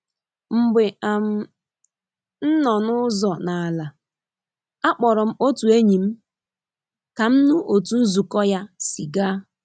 Mgbe um m nọ n'uzo n'ala, akpọrọ m otu enyi m ka m nụ otu nzukọ ya si gaa.